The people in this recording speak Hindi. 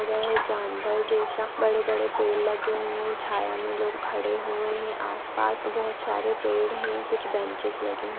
जानवर जैसा बड़े-बड़े पेड़ लगे हुए है छाया मे लोग खड़े हुए है आसपास बहुत सारे पेड़ है कुछ बेंचेस लगे--